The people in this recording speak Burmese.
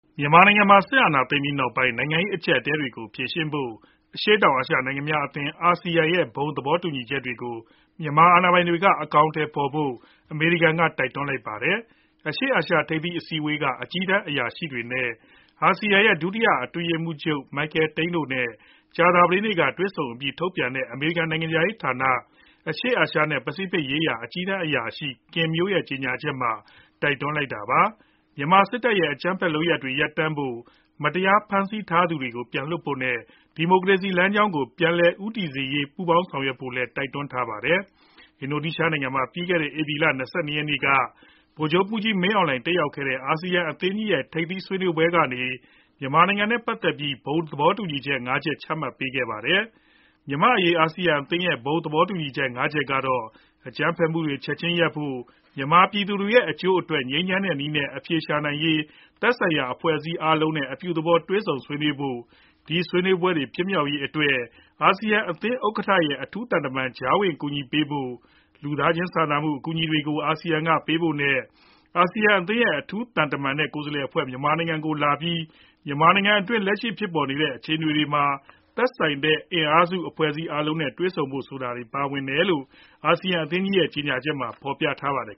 မြန်မာနိုင်ငံမှာ စစ်အာဏာသိမ်းပြီးနောက်ပိုင်း နိုင်ငံရေး အကျပ်အတည်းတွေကို ဖြေရှင်းဖို့ အရှေ့တောင်အာရှ နိုင်ငံများအသင်း (ASEAN) ရဲ့ ဘုံသဘောတူညီချက်တွေကို မြန်မာစစ်အာဏာပိုင်တွေ အမြန်ဆုံး အကောင်အထည်ဖော်ဖို့ အမေရိကန်က တိုက်တွန်းလိုက်ပါတယ်။ အရှေ့အာရှထိပ်သီး အစည်းအဝေးက အကြီးတန်းအရာရှိတွေနဲ့ အာဆီယံအသင်းရဲ့ ဒုတိယ အတွင်းရေးမှူးချုပ် Michael Tene တို့နဲ့ ကြာသပတေးနေ့က တွေ့ဆုံအပြီး ထုတ်ပြန်တဲ့ အမေရိကန် နိုင်ငံခြားရေးဌာန အရှေ့အာရှနဲ့ ပစိဖိတ်ရေးရာ အကြီးတန်းအရာရှိ Kin Moy ရဲ့ကြေညာချက်မှာ တိုက်တွန်းလိုက်တာပါ။ မြန်မာစစ်တပ်ရဲ့ အကြမ်းဖက်လုပ်ရပ်တွေ ရပ်တန့်ဖို့ မတရားဖမ်းဆီးထားသူတွေကို ပြန်လွှတ်ဖို့နဲ့ ဒီမိုကရေစီ လမ်းကြောင်းကို ပြန်လည်ဦးတည်စေဖို့ ပူးပေါင်း ဆောင်ရွက်ဖို့လည်း တိုက်တွန်းထားပါတယ်။ အင်ဒိုနီးရှားနိုင်ငံမှာ ဧပြီလ (၂၂)ရက်နေ့က ဗိုလ်ချုပ်မှူးကြီး မင်းအောင်လှိုင်တက်ရောက်ခဲ့တဲ့ အာဆီယံအသင်းကြီးရဲ့ ထိပ်သီးဆွေးနွေးပွဲကနေ မြန်မာနိုင်ငံနဲ့ ပတ်သက်ပြီး ဘုံသဘောတူညီချက် ၅ ချက်ချမှတ်ပေးခဲ့ပါတယ်။ မြန်မာ့အရေး အာဆီယံအသင်းရဲ့ ဘုံသဘောတူညီချက် ငါးချက်ကတော့ အကြမ်းဖက်မှုတွေ ချက်ချင်းရပ်ဖို့၊ မြန်မာ ပြည်သူတွေရဲ့ အကျိုးအတွက် ငြိမ်းချမ်းတဲ့နည်းနဲ့ အဖြေရှာရေးအတွက် သက်ဆိုင်ရာအင်အားစု အဖွဲ့အစည်းအားလုံးနဲ့ အပြုသဘော တွေ့ဆုံဆွေးနွေးဖို့၊ ဒီဆွေးနွေးမှုတွေ ဖြစ်ပေါ်ရေးအတွက် အာဆီယံအသင်းဥက္ကဋ္ဌရဲ့ အထူးသံတမန်က ကြားဝင်ကူညီပေးဖို့၊ လူသားချင်းစာနာမှု အကူအညီတွေကို အာဆီယံက ပေးဖို့နဲ့၊ အာဆီယံအသင်းရဲ့ အထူးသံတမန်နဲ့ ကိုယ်စားလှယ်အဖွဲ့ မြန်မာနိုင်ငံကို လာပြီး မြန်မာနိုင်ငံအတွင်း လက်ရှိဖြစ်ပေါ်နေတဲ့ အခြေအနေတွေမှာ သက်ဆိုင်တဲ့ အင်အားစု အဖွဲ့အစည်းအားလုံးနဲ့ တွေ့ဆုံဖို့ ဆိုတာတွေ ပါဝင်တယ်လို့ အာဆီယံအသင်းရဲ့ ကြေညာချက်မှာ ဖော်ပြထားပါတယ်